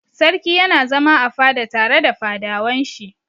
Sarki yana zama a fada tare da fadawan shi.